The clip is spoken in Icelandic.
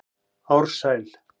Ársæl